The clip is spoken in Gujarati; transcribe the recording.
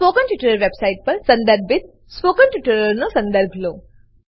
સ્પોકન ટ્યુટોરીયલ વેબસાઈટ પર સંદર્ભિત સ્પોકન ટ્યુટોરીયલોનો સંદર્ભ લો